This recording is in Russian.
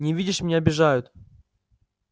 не видишь меня обижают